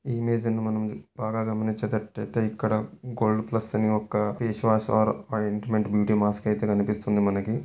ఈ ఇమేజ్ ని మనం బాగా గమనించేటట్టు అయితే ఇక్కడ గోల్డ్ ప్లస్ అనే ఒక ఫేస్ వాష్ వారు ఆయింట్మెంట్ మాస్క్ అయితే కనిపిస్తుంది మనకి.